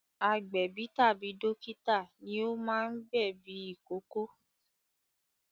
Agbẹ̀bí tàbí dókítà ní o máa ń gbẹ̀ ẹ̀bí ìkókó